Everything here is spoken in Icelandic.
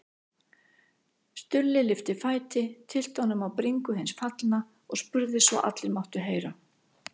Stulli lyfti fæti, tyllti honum á bringu hins fallna og spurði svo allir máttu heyra